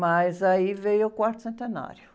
Mas aí veio o quarto centenário.